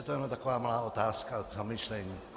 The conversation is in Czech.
To je jen taková malá otázka k zamyšlení.